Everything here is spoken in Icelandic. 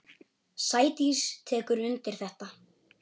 Sædís tekur undir þetta.